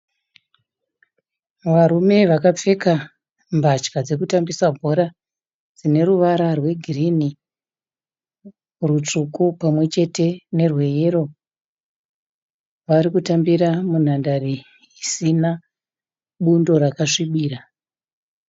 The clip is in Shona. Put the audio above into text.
Varume vakapfeka mbatya dzekutambisa bhora dzine ruvara rwegirini, rutsvuku pamwe chete nerweyero vari kutambira munhandare isina bundo rakasvibira